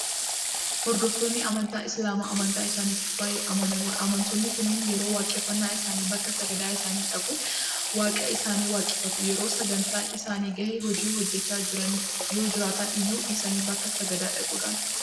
Hordoftoonni amantaa Islaamaa amantaa isaaniitiif baay'ee amanamoodha. Amantoonni kunneen yeroo waaqeffannaa isaanii bakka sagada isaanii dhaquudhaan Waaqa isaanii waaqeffatu. Yeroo sa'aatiin isaanii gahe hojii hojjechaa yoojiraatan iyyuu dhiisanii bakka sagadaa dhaquudhaan dabarsu.